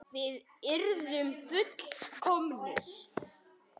Við yrðum full- komnir.